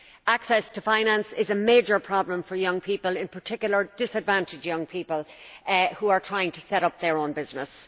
Access to finance is a major problem for young people in particular, disadvantaged young people who are trying to set up their own business.